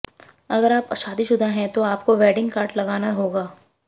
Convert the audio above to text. अगर आप शादीशुदा हैं तब आपको वेडिंग कार्ड लगाना होगा